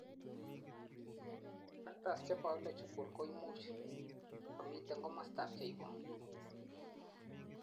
factors chebiological koimuch komiten komostab cheibu